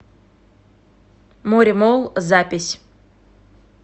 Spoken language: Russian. моремолл запись